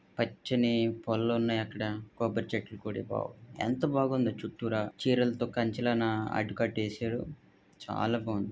అచ్చిని full ఉన్నాయి. ఎంత బాగుందో చుట్టూర చీరలతో కంచలన అడ్డు కట్ట వేసారు. చాలా బాగుంది.